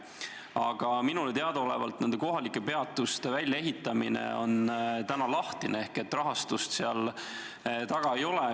Aga minule teadaolevalt on kohalike peatuste väljaehitamine praegu lahtine ehk et rahastust seal taga ei ole.